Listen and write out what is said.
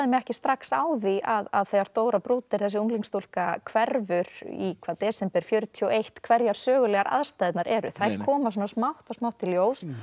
mig ekki strax á því að þegar Dóra Bruder þessi unglingsstúlka hverfur í hvað desember fjörutíu og eitt hverjar sögulegu aðstæðurnar eru þær koma svona smátt og smátt í ljós